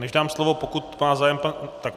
Než dám slovo, pokud má zájem pan...